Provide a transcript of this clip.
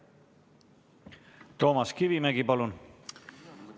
Toomas Kivimägi, palun!